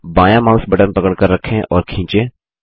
बायाँ mouse button पकड़कर रखें और खींचें